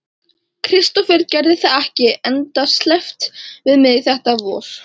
Kristófer gerði það ekki endasleppt við mig þetta vor.